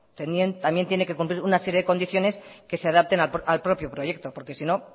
también tiene que cumplir una serie de condiciones que se adapten al propio proyecto porque sino